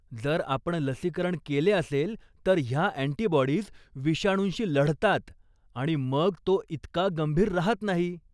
जर आपण लसीकरण केले असेल तर ह्या अँटीबॉडीज विषाणूंशी लढतात आणि मग तो इतका गंभीर राहत नाही.